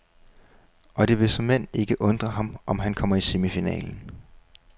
Og det vil såmænd ikke undre ham, om han kommer i semifinalen.